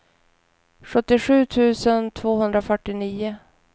sjuttiosju tusen tvåhundrafyrtionio